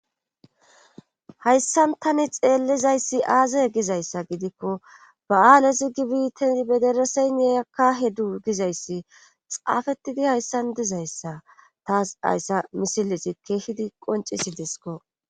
hayssan tani xeellizayssi aazaye gizayssa gidikko ba7aalesi gibite bedereseyne akkahedu gizayssi xaafettidi hayssan dizayssa taas hayssa misilesi keehidi qoncisi disko